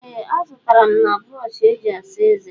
ee, azụtara m na brọọshị eji asa eze